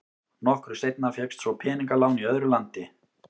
Nokkru seinna fékkst svo peningalán í öðru landi.